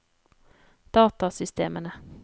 datasystemene